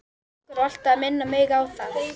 Einhver var alltaf að minna mig á það.